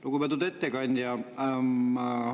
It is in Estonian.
Lugupeetud ettekandja!